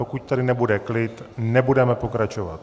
Pokud tady nebude klid, nebudeme pokračovat.